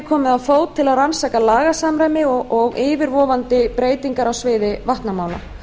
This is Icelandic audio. komið á fót til að rannsaka lagasamræmi og yfirvofandi breytingar á sviði vatnamála